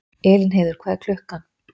Elínheiður, hvað er klukkan?